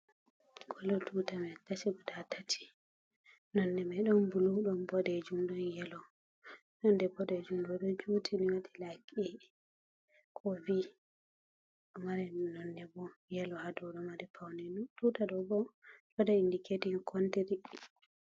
Kolo tuta mai kashi guda tati nonne mai ɗon bulu ɗon boɗejum ɗon yelo nonde boɗejum ɗo ɗo juti ni waɗi lyk e ko b ɗo mari nonne bo yelo ha dou ɗo mari paune tuta do bo ɗ waɗa indiketing kontiri.